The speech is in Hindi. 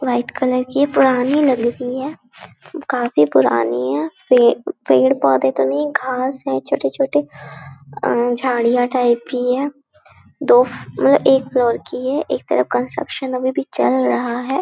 वाइट कलर की पुरानी नगरी है काफी पुरानी है फिर पेड़ -पौधे तो नहीं है घास है छोटे-छोटे अ झाड़ियाँ टाईप भी है दोफ में एक लड़की है एक तरफ कंस्ट्रक्शन अभी भी चल रहा हैं।